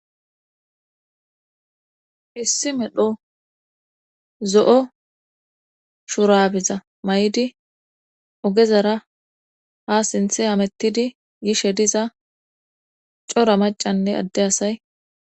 Hissi medho zo'o shurabiza may'idi ogezara ha sinthe amettidi gishe diza cora macanne adde asay